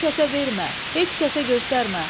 Heç kəsə vermə, heç kəsə göstərmə.